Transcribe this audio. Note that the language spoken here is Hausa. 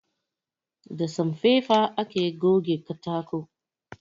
Da sanfaifa ake goge katako